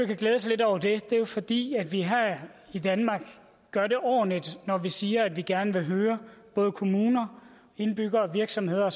kan glæde sig lidt over det er jo fordi vi her i danmark gør det ordentligt når vi siger at vi gerne vil høre både kommuner indbyggere virksomheder